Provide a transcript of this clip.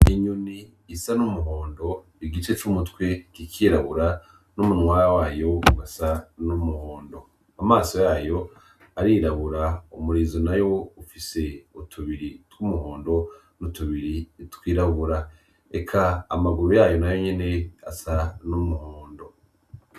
Inyoni isa n’umuhondo igice c’umutwe kikirabura n’umunwa wayo ugasa n’umuhondo . Amaso yayo arirabura , umurizo nawo ufise utubiri tw’umuhondo n’utubiri twirabura. Eka amaguru yayo nayo nyene asa n’umuhondo.